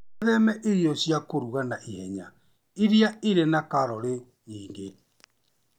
Wĩtheme irio cia kũruga na ihenya iria irĩ na kalorĩ nyingĩ.